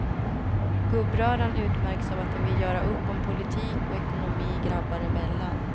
Gubbröran utmärks av att den vill göra upp om politik och ekonomi grabbar emellan.